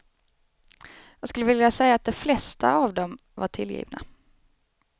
Jag skulle vilja säga att de flesta av dem var tillgivna.